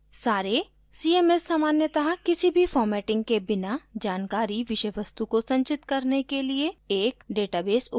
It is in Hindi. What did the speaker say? सारे cms सामान्यतः किसी भी formatting के बिना जानकारी विषय वस्तु को संचित करने के लिए एक database उपयोग करते हैं